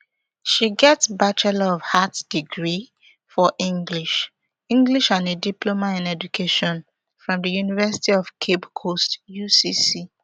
she get bachelor of arts degree for english english and a diploma in education from di university of cape coast ucc